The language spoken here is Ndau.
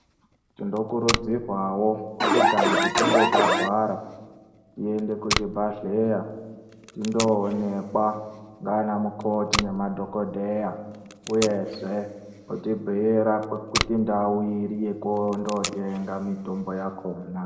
Tinokurudzirwawo kuti kana tichinge tarwara tiende kuzvibhahleya tindoonekwa ngaana mukoti nemadhokodheya uyezve kuti bhiira kuti indau iri yokondotenga mitombo yakona.